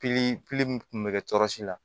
kun bɛ kɛ tɔ si la